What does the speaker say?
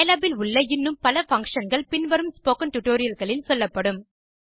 Scilab இல் உள்ள இன்னும் பல functionகள் பின் வரும் ஸ்போக்கன் டியூட்டோரியல் களில் சொல்லப்படும்